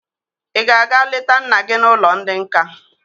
Ị ga-aga leta nna gị n'ụlọ ndị nka?